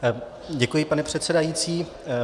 Děkuji, pane předsedající.